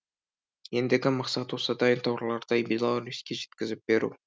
ендігі мақсат осы дайын тауарларды беларуське жеткізіп беру